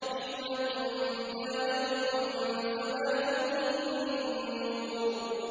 حِكْمَةٌ بَالِغَةٌ ۖ فَمَا تُغْنِ النُّذُرُ